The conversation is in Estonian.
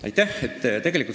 Aitäh!